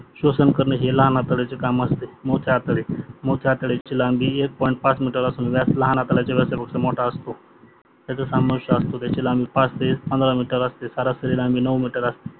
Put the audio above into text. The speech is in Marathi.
स्वसन करणे हे लहान आतट्याचे काम असते. मोठे आतडे मोठे आतडयाची लांबी एक पॉईंट पाच मीटर असून व्यास लहान आतडयाच्या व्यासापेक्षा मोठा असतो त्याचा स्वामावेश असतो त्याची लांबी पाच ते पंधरा मीटर असते सरासरी लांबी नऊ मीटर असते